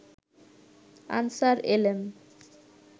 answer এলেন